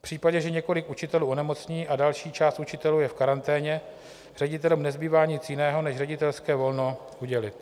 V případě, že několik učitelů onemocní a další část učitelů je v karanténě, ředitelům nezbývá nic jiného než ředitelské volno udělit.